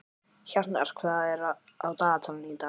Hjarnar, hvað er á dagatalinu í dag?